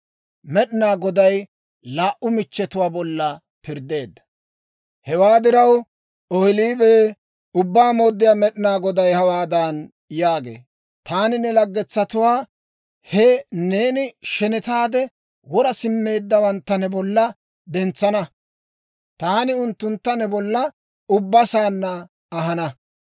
«Hewaa diraw, Ohoolibee, Ubbaa Mooddiyaa Med'inaa Goday hawaadan yaagee; ‹Taani ne laggetsatuwaa, he neeni shenetaade wora simmeeddawantta ne bolla dentsana; taani unttuntta ne bolla ubba saanna ahana.